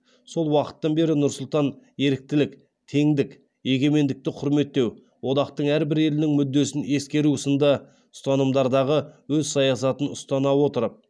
сол уақыттан бері нұр сұлтан еріктілік теңдік егемендікті құрметтеу одақтың әрбір елінің мүддесін ескеру сынды ұстанымдардағы өз саясатын ұстана отырып